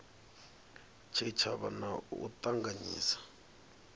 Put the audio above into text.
tshitshavha na u a ṱanganyisa